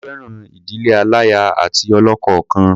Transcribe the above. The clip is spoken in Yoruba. Mo fẹ́ràn ìdílé aláya àti ọlọ́kọ kan.